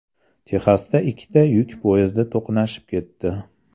Texasda ikkita yuk poyezdi to‘qnashib ketdi.